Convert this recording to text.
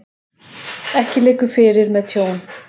Ekki liggur fyrir með tjón